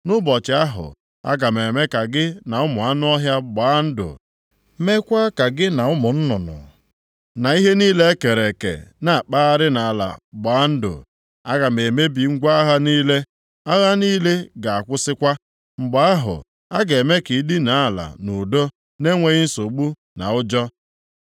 Nʼụbọchị ahụ, aga m eme ka gị na ụmụ anụ ọhịa gbaa ndụ, meekwa ka gị na ụmụ nnụnụ, na ihe niile e kere eke nʼakpụgharị nʼala gbaa ndụ. Aga m emebi ngwa agha niile, agha niile ga-akwụsịkwa. Mgbe ahụ, a ga-eme ka ị dịnaa ala nʼudo na-enweghị nsogbu, na ụjọ.